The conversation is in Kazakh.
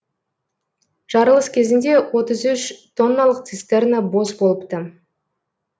жарылыс кезінде отыз үш тонналық цистерна бос болыпты